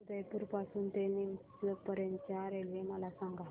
उदयपुर पासून ते नीमच पर्यंत च्या रेल्वे मला सांगा